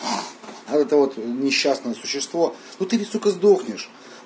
это вот несчастное существо ну ты ведь сука сдохнешь